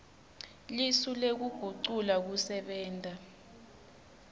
lisu lekugucula kusebenta